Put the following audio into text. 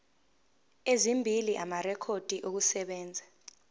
ezimbili amarekhodi okusebenza